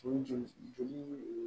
O joli joli